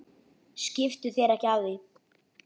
Skiptu þér ekki af því.